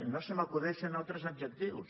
no se m’acudeixen altres adjectius